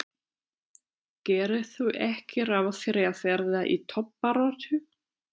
Gerirðu ekki ráð fyrir að verða í toppbaráttu?